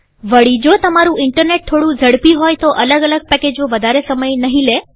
વળીજો તમારું ઈન્ટરનેટ થોડું ઝડપી હોય તો અલગ અલગ પેકેજો વધારે સમય નહીં લે